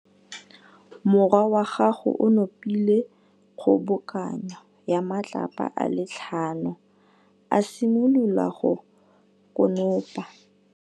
Morwa wa gagwe o nopile kgobokanô ya matlapa a le tlhano, a simolola go konopa.